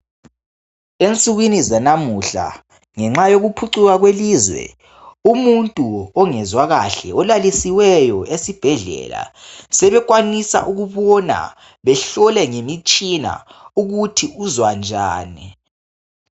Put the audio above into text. Ensukwini zanamuhla ngenxa yokuphucuka kwelizwe umuntu ongezwa kahle olalisiweyo esibhedlela sebekwanisa ukubona behlole ngemitshina ukuthi uzwa njani.